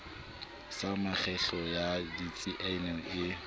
sa mekgahlelo ya ditsiane e